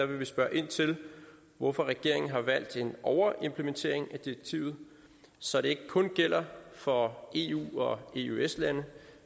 vil vi spørge ind til hvorfor regeringen har valgt en overimplementering af direktivet så det ikke kun gælder for eu og eøs lande